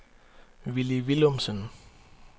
Willy Villumsen